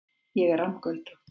Ég er rammgöldrótt.